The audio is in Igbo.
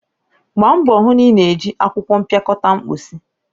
Gbaa mbọ hụ na ị na-eji akwụkwọ mpịakọta mposi!